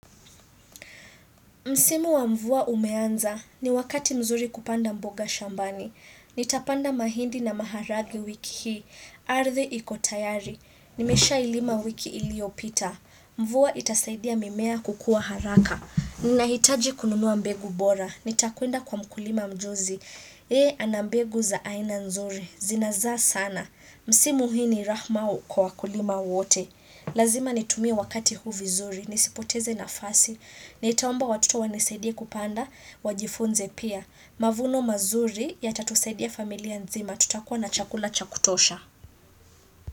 Msimu wa mvua umeanza, ni wakati mzuri kupanda mboga shambani. Nitapanda mahindi na maharagwe wiki hii, ardhi iko tayari. Nimesha ilima wiki iliopita. Mvua itasaidia mimea kukua haraka. Ninahitaji kununua mbegu bora. Nitakuenda kwa mkulima mjuzi. Yeye anambegu za aina nzuri, zinazaa sana. Msimu hii ni rahma kwa wakulima wote. Lazima nitumie wakati huu vizuri, nisipoteze na fasi. Naitaomba watoto wanisaidie kupanda wajifunze pia. Mavuno mazuri ya tatusaidia familia nzima tutakuwa na chakula chakutosha.